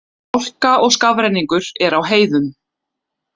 Hálka og skafrenningur er á heiðum